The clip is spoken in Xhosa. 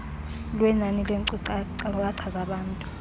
lwenani neenkcukacha zabantu